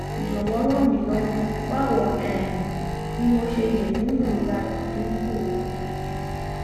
jọwọ ràn mí lọwọ báwo um ni mo ṣe lè mú ìrora rẹ dín kùò